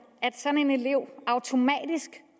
at sådan en elev automatisk